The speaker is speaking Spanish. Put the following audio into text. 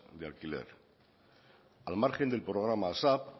de alquiler al margen del programa asap